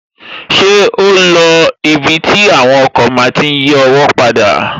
Ṣé o lo ibi tí àwọn ọkọ̀ máa tí n yí ọwọ́ padà?